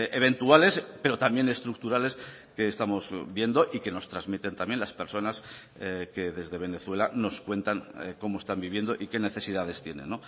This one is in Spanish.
eventuales pero también estructurales que estamos viendo y que nos transmiten también las personas que desde venezuela nos cuentan cómo están viviendo y qué necesidades tienen